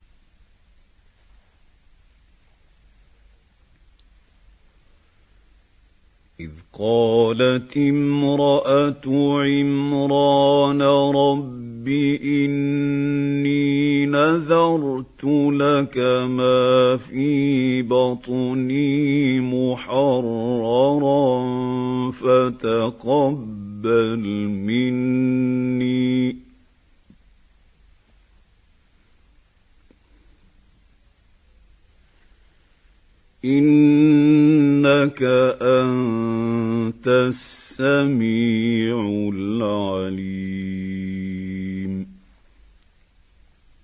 إِذْ قَالَتِ امْرَأَتُ عِمْرَانَ رَبِّ إِنِّي نَذَرْتُ لَكَ مَا فِي بَطْنِي مُحَرَّرًا فَتَقَبَّلْ مِنِّي ۖ إِنَّكَ أَنتَ السَّمِيعُ الْعَلِيمُ